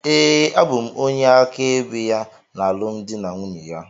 Ee, abụ m onye áká ebe ya na alụmdi na nwunye ya.